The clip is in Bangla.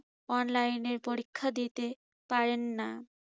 online এ পরীক্ষা দিতেপারেন না।